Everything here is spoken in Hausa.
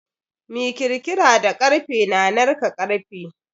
Mi kirkira da karfe na narka karfe.